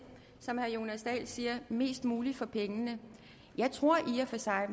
som herre jonas dahl siger mest muligt for pengene jeg tror i og for sig at